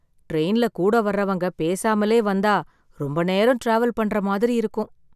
ட்ரெயின்ல கூட வர்றவங்க பேசாமலே வந்தா ரொம்ப நேரம் டிராவல் பண்ற மாதிரி இருக்கும்